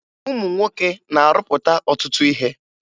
Ụmụ nwoke na-arụpụta ọtụtụ ihe